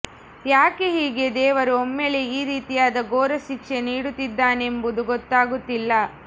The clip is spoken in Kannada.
ಯಾಕೆ ಹೀಗೆ ದೇವರು ಒಮ್ಮೆಲೆ ಈ ರೀತಿಯಾದ ಘೋರ ಶಿಕ್ಷೆ ನೀಡುತ್ತಿದ್ದಾನೆಂಬುದು ಗೊತ್ತಾಗುತ್ತಿಲ್ಲ